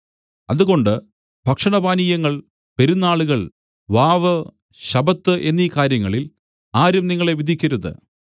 അതുകൊണ്ട് ഭക്ഷണപാനീയങ്ങൾ പെരുന്നാളുകൾ വാവ് ശബ്ബത്ത് എന്നീ കാര്യങ്ങളിൽ ആരും നിങ്ങളെ വിധിക്കരുത്